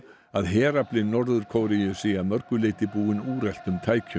að herafli Norður Kóreu sé að mörgu leyti búinn úreltum tækjum